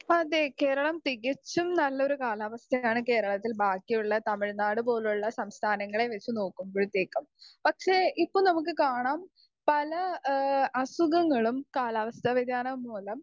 speaker 2 അതെ കേരളം തികച്ചും നല്ലൊരു കാലാവസ്ഥയാണ് കേരളത്തിൽ ബാക്കിയുള്ള തമിഴ്‌നാട് പോലുള്ള സംസ്ഥാനങ്ങളെ വെച്ച് നോകുമ്പഴത്തേക്കും പക്ഷെ ഇപ്പൊ നമ്മുക്ക് കാണാം പല എഹ് അസുഖങ്ങളും കാലാവസ്ഥ വധ്യാനം മൂലം